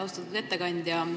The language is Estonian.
Austatud ettekandja!